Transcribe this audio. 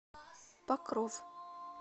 покров